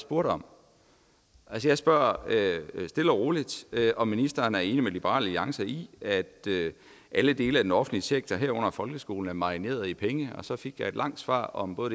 spurgte om jeg spørger stille og roligt om ministeren er enig med liberal alliance i at alle dele af den offentlige sektor herunder folkeskolen er marineret i penge og så fik jeg et langt svar om både